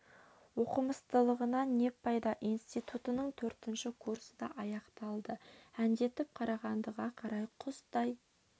оқымыстылығыңнан не пайда институтының төртінші курсы да аяқталды әндетіп қарағандыға қарай құстай